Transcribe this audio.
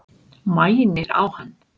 Mænir á hann.